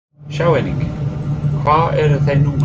Sjá einnig: Hvar eru þeir núna?